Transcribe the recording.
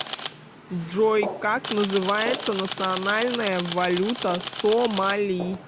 джой как называется национальная валюта сомали